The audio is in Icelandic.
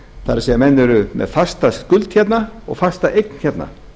það er menn eru með fasta skuld hérna og fasta eign hérna